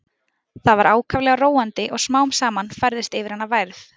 Það var ákaflega róandi og smám saman færðist yfir hana værð.